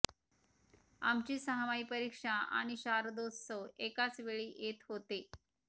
आमची सहामाही परीक्षा आणि शारदोत्सव ऎकाच वेळी येत होते